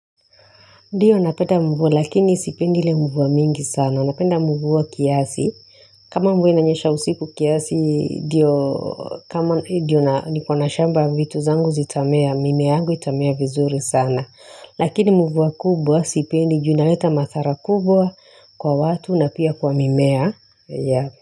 Ndiyo napenda mvua lakini sipendi ile mvua mingi sana napenda mvua kiasi kama mvua inanyesha usiku kiasi ndiyo kama ndio nikona shamba ya vitu zangu zitamea, mimea yangu itamea vizuri sana lakini mvua kubwa sipendi juu inaleta madhara kubwa kwa watu na pia kwa mimea ya.